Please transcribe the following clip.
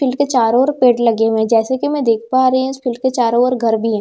school के चारों ओर पेड़ लगे हुए है जैसे कि मैं देख पा रही हूं स्कूल के चारों ओर घर भी है जैसे कि मैं देख --